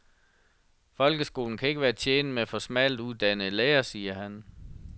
Folkeskolen kan ikke være tjent med for smalt uddannede lærere, siger han.